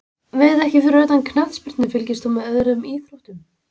Veit ekki Fyrir utan knattspyrnu, fylgist þú með öðrum íþróttum?